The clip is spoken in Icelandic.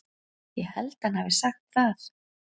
Ég held hann hafi sagt það.